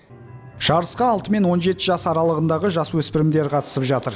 жарысқа алты мен он жеті жас аралығындағы жасөспірімдер қатысып жатыр